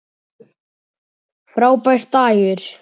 Frábær dagur.